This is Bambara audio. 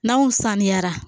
N'anw saniyara